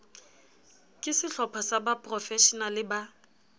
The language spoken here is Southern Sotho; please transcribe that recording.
ke sehlopha sa baprofeshenale ba